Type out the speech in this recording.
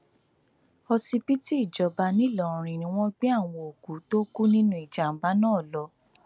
òsibítù ìjọba ńìlọrin ni wọn gbé àwọn òkú tó kù nínú ìjàmbá náà lọ